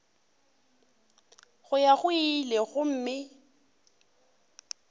go ya go ile gomme